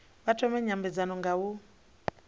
vha thome nymbedzano nga u